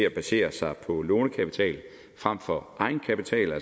at basere sig på lånekapital frem for